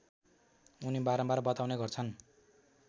उनी बारम्बार बताउने गर्छन्